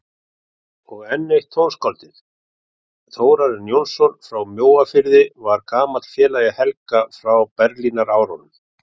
Og enn eitt tónskáldið, Þórarinn Jónsson frá Mjóafirði, var gamall félagi Helga frá Berlínarárunum.